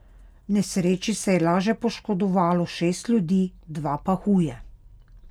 V nesreči se je laže poškodovalo šest ljudi, dva pa huje.